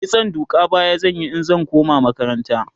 kitson duka baya zan Yi in zan koma makaranta